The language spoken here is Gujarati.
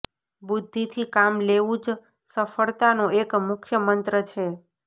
બુદ્ધિથી કામ લેવું જ સફળતાનો એક મુખ્ય મંત્ર છે